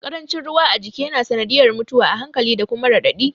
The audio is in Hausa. Ƙarancin ruwa a jiki ya na sanadiyar mutuwa a hankali da kuma raɗaɗi